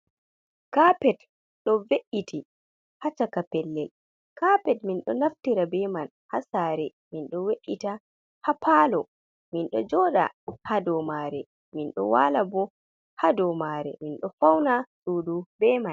Kapet do ve’iti hacaka pellel, kapet mindo naftira beman ha sare, mindo we’ita ha palo, mindo joda ha domare mindo wala bo ha domare mindo fauna sudu beman.